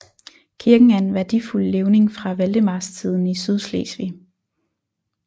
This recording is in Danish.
Kirken er en værdifuld levning fra valdemarstiden i Sydslesvig